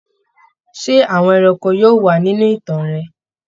Ṣé àwọn ẹranko yóò wà nínú ìtàn rẹ?